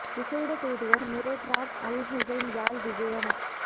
விஷேட தூதுவர் Mired Raad Al Hussein Yazh விஜயம்